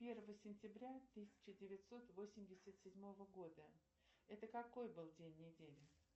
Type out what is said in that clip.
первое сентября тысяча девятьсот восемьдесят седьмого года это какой был день недели